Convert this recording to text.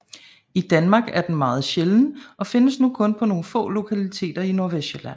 I Danmark er den meget sjælden og findes nu kun på nogle få lokaliteter i Nordvestsjælland